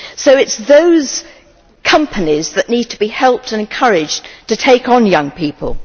So it is those companies that need to be helped and encouraged to take on young people.